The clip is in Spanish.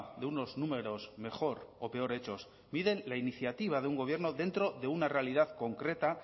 de unos números mejor o peor hechos miden la iniciativa de un gobierno dentro de una realidad concreta